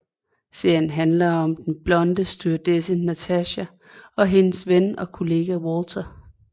Serien handler om den blonde stewardesse Natacha og hendes ven og kollega Walter